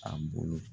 A bolo